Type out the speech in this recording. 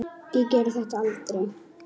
Ég geri þetta aldrei.